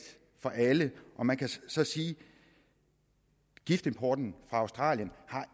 for alle man kan så sige at giftimporten fra australien